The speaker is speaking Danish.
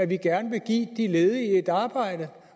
vi gerne vil give de ledige et arbejde